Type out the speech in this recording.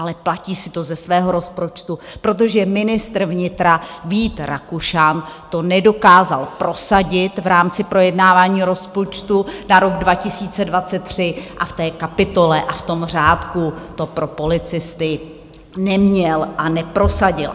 Ale platí si to ze svého rozpočtu, protože ministr vnitra Vít Rakušan to nedokázal prosadit v rámci projednávání rozpočtu na rok 2023 a v té kapitole a v tom řádku to pro policisty neměl a neprosadil!